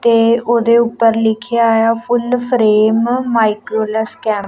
ਤੇ ਓਹਦੇ ਊਪਰ ਲਿਖੇਆ ਹੋਇਆ ਫੁੱਲ ਫਰੇਮ ਮਾਈਕਰੋ ਲੈਸ ਕੈਮ--